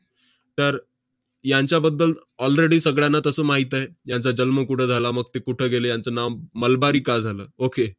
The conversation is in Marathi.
तर, यांच्याबद्दल already सगळ्यांना तसं माहित आहे. यांचा जन्म कुठं झाला, मग ते कुठं गेले, यांचं नाव मलबारी का झालं? okey